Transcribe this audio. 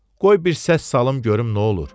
Qoy bir səs salım görüm nə olur.